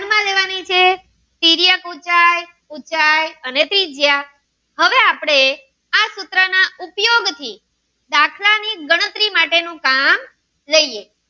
ઉચ્ચાઈ અને ત્રિજ્યા હવે આપણે આ સૂત્ર ના ઉપયોગથી દાખલા ની ગણતરી માટેનું કામ લઈએ